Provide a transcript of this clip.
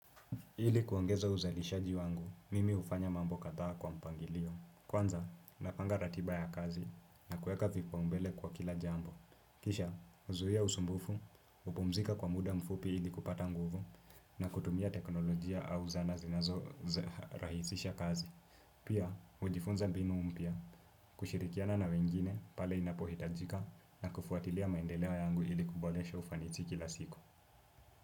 Ili kuongeza uzalishaji wangu, mimi hufanya mambo kadhaa kwa mpangilio. Kwanza, napanga ratiba ya kazi na kuweka vipaumbele kwa kila jambo. Kisha, huzuia usumbufu, hupumzika kwa muda mfupi ili kupata nguvu, na kutumia teknolojia au zana zinazorahisisha kazi. Pia, hujifunza mbinu mpya, kushirikiana na wengine pale inapohitajika na kufuatilia maendeleo yangu ili kuboresha ufanisi kila siku.